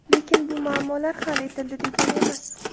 Lekin bu muammolar hal etildi degani emas.